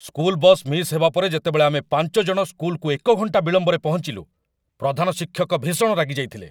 School bus miss ହେବା ପରେ ଯେତେବେଳେ ଆମେ ୫ ଜଣ ସ୍କୁଲକୁ ଏକ ଘଣ୍ଟା ବିଳମ୍ବରେ ପହଞ୍ଚିଲୁ, ପ୍ରଧାନଶିକ୍ଷକ ଭୀଷଣ ରାଗି ଯାଇଥିଲେ।